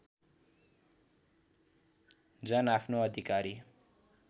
जन आफ्नो अधिकारी